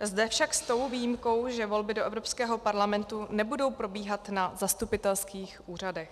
zde však s tou výjimkou, že volby do Evropského parlamentu nebudou probíhat na zastupitelských úřadech.